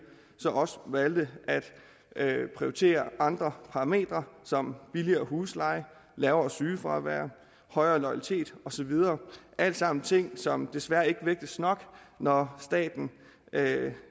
også valgte at prioritere andre parametre som billigere husleje lavere sygefravær højere loyalitet og så videre alt sammen ting som desværre ikke vægtes nok når staten